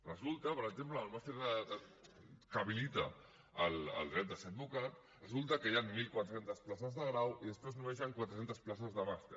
resulta per exemple en el màster que habilita el dret de ser advocat que hi han mil quatre cents places de grau i després només hi han quatre centes places de màster